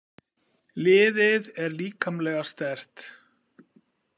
Liðið er líkamlega sterkt.